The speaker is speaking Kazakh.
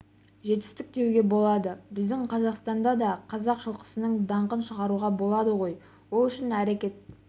жетістік деуге болады біздің қазақстанда да қазақ жылқысының даңқын шығаруға болады ғой ол үшін әрекет